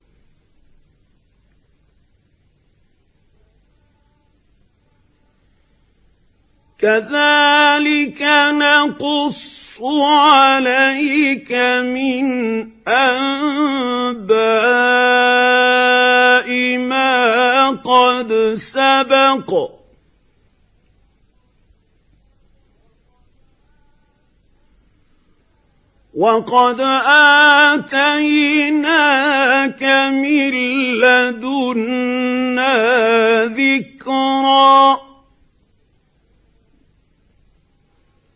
كَذَٰلِكَ نَقُصُّ عَلَيْكَ مِنْ أَنبَاءِ مَا قَدْ سَبَقَ ۚ وَقَدْ آتَيْنَاكَ مِن لَّدُنَّا ذِكْرًا